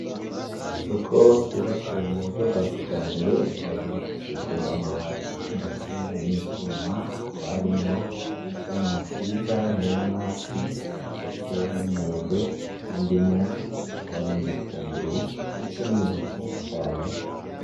Isoko ryubatswe muburyo bwakijambere rikaba ryubakishijwe amabati ndetse nivyuma hakaba harimwo ivyamwa vyiza nkinanasi ndetse nimyembe, nindimu, hakaba harimwo nibitunguru ndetse nibintu vyinshi cane.